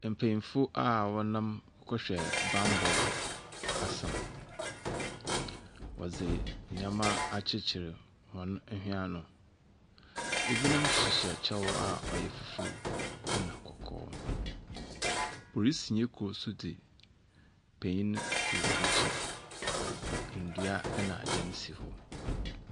Npanyinfo a wɔnam kɔbɔ banbɔ asɛm. Wɔdi ndɛmma akyikyiri wɔn hwini ano. Ebinom hyihyɛ ɛkyɛw a ɔyɛ fufuo nna kɔkɔɔ. Polisi ne koro de panyin no akyi na ndua ne adan se hɔ.